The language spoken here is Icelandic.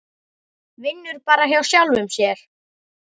Vinnur bara hjá sjálfum sér.